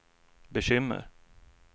bekymmer